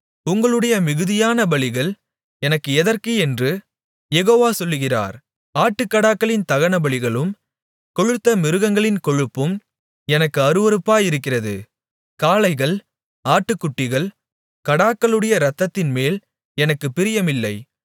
உங்களுடைய மிகுதியான பலிகள் எனக்கு எதற்கு என்று யெகோவா சொல்கிறார் ஆட்டுக்கடாக்களின் தகனபலிகளும் கொழுத்த மிருகங்களின் கொழுப்பும் எனக்கு அருவருப்பாயிருக்கிறது காளைகள் ஆட்டுக்குட்டிகள் கடாக்களுடைய இரத்தத்தின்மேல் எனக்குப் பிரியமில்லை